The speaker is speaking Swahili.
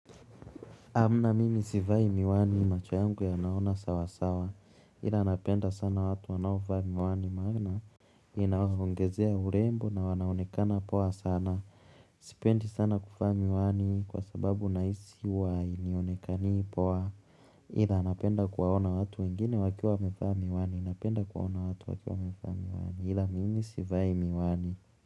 Amna mimi sivai miwani macho yangu yanaona sawa sawa, ila napenda sana watu wanaovaa miwani maana inaongezea urembo na wanaonekana poa sana sipendi sana kuvaa miwani kwa sababu nahisi huwa hainionekani poa ila napenda kuwaona watu wengine wakiwa wamevaa miwani, napenda kuwaona watu wakiwa wamevaa miwani, ila mimi sivai miwani.